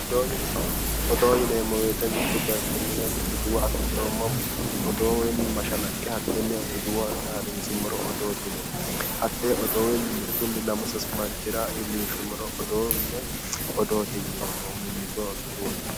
Odoo yineemmo woyte mittu bayiichinni woy duduwo afi'nohu odoo woy mashalaqqe hatte tenne duduwo har'insummoro odoote yineemmo, hatte odoo mittu lamu sasu manchira iillinshummoro odoote yineemmo mimmitoho duduwate.